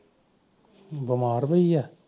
ਬਿਮਾਰ ਹੋਈ ਐ